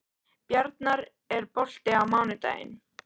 Bjarnar, er bolti á mánudaginn?